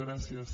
gràcies